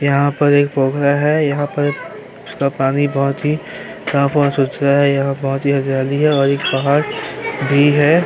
यहाँ पर एक पोखरा है। यहाँ पर उसका पानी बहुत ही साफ और सुथरा है। यहाँ बहोत ही हरियाली है और एक पहाड़ भी है।